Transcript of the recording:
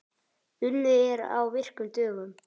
Unnið er á virkum dögum.